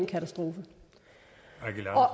katastrofe